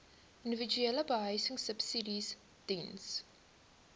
individuele behuisingsubsidies diens